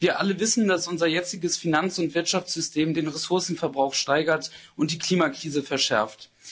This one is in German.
Wir alle wissen, dass unser jetziges Finanz— und Wirtschaftssystem den Ressourcenverbrauch steigert und die Klimakrise verschärft.